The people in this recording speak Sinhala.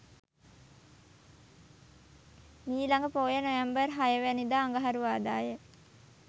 මීළඟ පෝය නොවැම්බර් 06 වැනිදා අඟහරුවාදා ය.